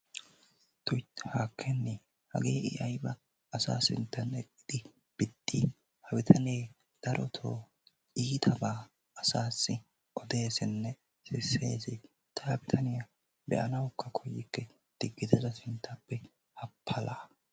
Tuy haakkenee! hagee i ayiba asaa sinttan eqqidi biddii ha bitanee darotoo iitabaa asaassi odeesinne sisees. Ta ha bitaniya be'anawukka koyikke diggite ta sinttaappe ha palaa!